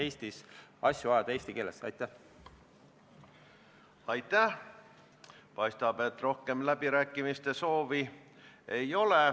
4. novembri istungil osalesid Majandus- ja Kommunikatsiooniministeeriumi esindajad.